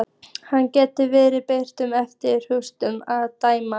Hann gæti verið betlari eftir útlitinu að dæma.